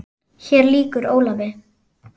Hér lýkur Ólafi.